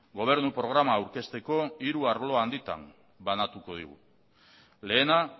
gobernu programa aurkezteko hiru arlo handitan banatuko dugu lehena